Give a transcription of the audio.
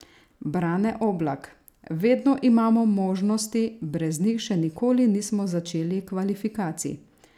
Brane Oblak: "Vedno imamo možnosti, brez njih še nikoli nismo začeli kvalifikacij.